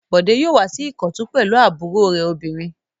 Bọ̀dé yóò wá sí Ìkọ̀tún pẹ̀lú àbúrò rẹ̀ obìnrin.